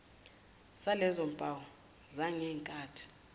salezo mpawu zangenkathi